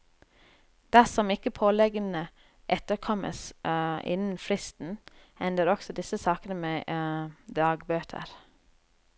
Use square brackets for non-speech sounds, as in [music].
Dersom ikke påleggene etterkommes [hesitation] innen fristen, ender også disse sakene med [hesitation] dagbøter.